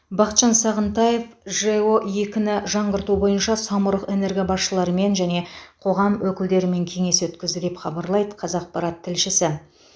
бақытжан сағынтаев жэо екіні жаңғырту бойынша самұрық энерго басшыларымен және қоғам өкілдерімен кеңес өткізді деп хабарлайды қазақпарат тілшісі